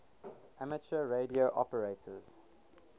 amateur radio operators